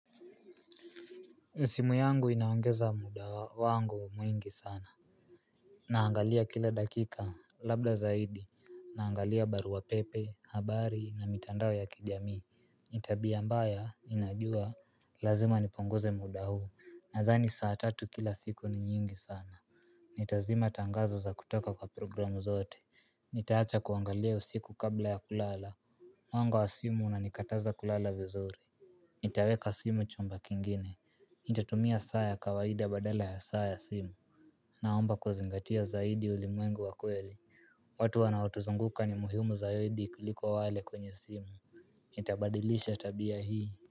Simu yangu inaongeza muda wangu mwingi sana Naangalia kila dakika, labda zaidi, naangalia barua pepe, habari na mitandao ya kijamii Tabia mbaya ninajua lazima nipunguze muda huu, nadhani saa tatu kila siku ni nyingi sana Nitazima tangazo za kutoka kwa programu zote Nitaacha kuangalia usiku kabla ya kulala Mwanga wa simu unanikataza kulala vizuri Nitaweka simu chumba kingine Nitatumia saa ya kawaida badala ya saa ya simu Naomba kuzingatia zaidi ulimwengu wa kweli watu wanaotuzunguka ni muhimu zaidi kuliko wale kwenye simu Nitabadilisha tabia hii.